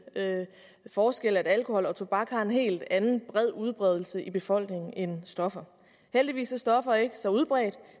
forskel at alkohol og tobak har en helt anden bred udbredelse i befolkningen end stoffer heldigvis er stoffer ikke så udbredt